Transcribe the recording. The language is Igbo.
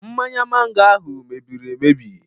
Mmanya mango ahụ mebiri emebi.